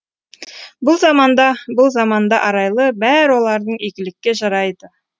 бұл заманда бұл заманда арайлы бәрі олардың игілікке жарайды